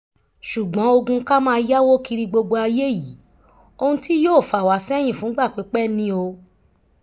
ṣùgbọ́n ogun ká máa yáwó kiri gbogbo ayé yìí ohun tí yóò fà wá sẹ́yìn fúngbà pípẹ́ ni o